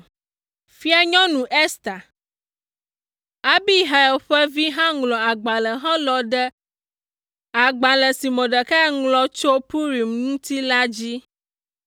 Fianyɔnu Ester, Abihail ƒe vi hã ŋlɔ agbalẽ helɔ̃ ɖe agbalẽ si Mordekai ŋlɔ tso Purim ŋuti la dzi.